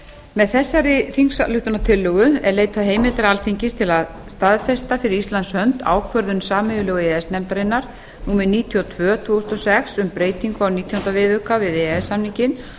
með þessari þingsályktunartillögu er leitað heimildar alþingis til að staðfesta fyrir íslands hönd ákvörðun sameiginlegu e e s nefndarinnar númer níutíu og tvö tvö þúsund og sex um breytingu á nítjánda viðauka við e e s samninginn